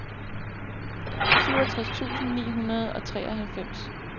syvogtres tusind ni hundrede og treoghalvfems